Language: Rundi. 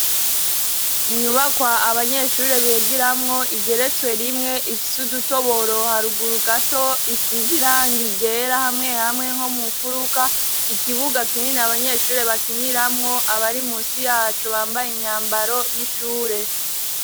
Inyubakwa abanyeshure bigiramwo igeretswe rimwe, ifise udutoboro haruguru gato, isize irangi ryera hamwe hamwe nko mu mfuruka, ikibuga kinini abanyeshure bakiniramwo, abari musi yaco bambaye imyambaro y'ishure.